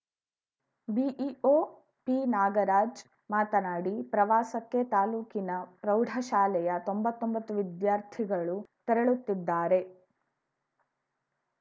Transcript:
BEO ಪಿನಾಗರಾಜ್‌ ಮಾತನಾಡಿ ಪ್ರವಾಸಕ್ಕೆ ತಾಲೂಕಿನ ಪ್ರೌಢಶಾಲೆಯ ತೊಂಬತ್ತೊಂಬತ್ತು ವಿದ್ಯಾರ್ಥಿಗಳು ತೆರಳುತ್ತಿದ್ದಾರೆ